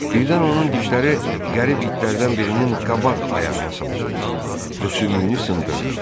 Birdən onun dişləri qərib itlərdən birinin qabaq ayağına sancıldı və sümüyünü sındırdı.